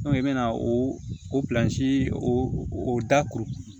i bɛna o o o da kuru